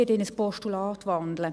Ich werde in ein Postulat wandeln.